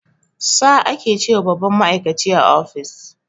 "Sir" ake ce wa babban ma'aikaci a office